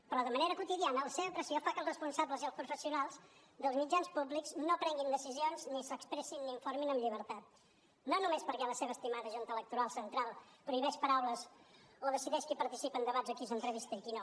però de manera quotidiana la seva pressió fa que els responsables i els professionals dels mitjans públics no prenguin decisions ni s’expressin ni informin amb llibertat no només perquè la seva estimada junta electoral central prohibeix paraules o decideix qui participa en debats o qui s’entrevista i qui no